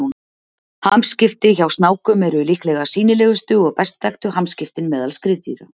hamskipti hjá snákum eru líklega sýnilegustu og best þekktu hamskiptin meðal skriðdýra